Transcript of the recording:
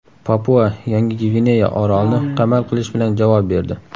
Papua-Yangi Gvineya orolni qamal qilish bilan javob berdi.